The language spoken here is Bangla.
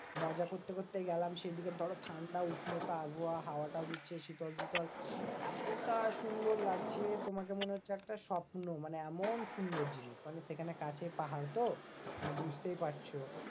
মজা করতে করতে গেলাম। সেই দিকে ঠান্ডা উষ্ণতা হাওয়া টাও দিচ্ছে শীতল শীতল। এতটা সুন্দর লাগছে তোমাকে মনে হচ্ছে একটা স্বপ্ন। মানে এমন সুন্দর জিনিস মানে সেখানে কাছে পাহাড় তো? মানে বুঝতেই পারছো?